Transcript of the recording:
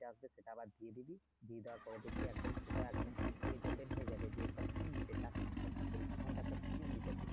টা আছে সেটা আবার দিয়ে দিবি দিয়ে দেওয়ার পরে দেখবি একদম সোজা একদম হয়ে যাবে যে একটা দিবে চার সংখ্যার মনেকর সম্ভবত তোকে একটা দিতে পারে